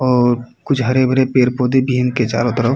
और कुछ हरे भरे पेड़ पौधे भी हैं इनके चारों तरफ